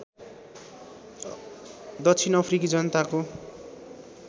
दक्षिण अफ्रिकी जनताको